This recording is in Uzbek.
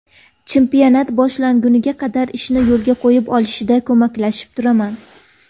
Chempionat boshlanguniga qadar ishni yo‘lga qo‘yib olishida ko‘maklashib turaman.